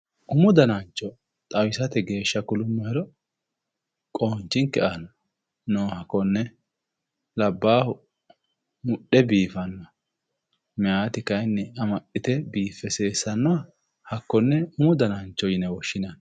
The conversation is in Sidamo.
Umu danancho xawisate geeshshira qonchinke aana nooha konne labbahu mudhe biifanoha mayaati kayinni amaxite biife seesanoha hakkone umu danancho yine woshshinanni.